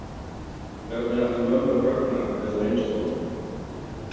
Hvernig ætli mömmur Högna hefðu reynst honum?